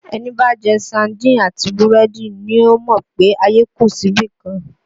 Ẹni bá jẹ saádìn àti búrẹ́dì ni yóò mọ̀ pé ayé kù sí ibìkan